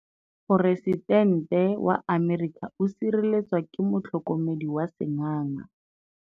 Poresitêntê wa Amerika o sireletswa ke motlhokomedi wa sengaga.